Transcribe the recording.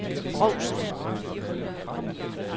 Brovst